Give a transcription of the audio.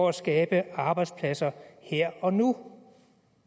at skabe arbejdspladser her og nu